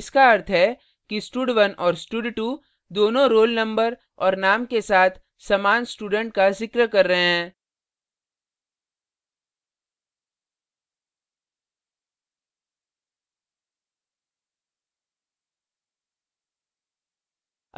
इसका अर्थ है कि stud1 और stud2 दोनों roll number और name के साथ समान student का जिक्र कर रहे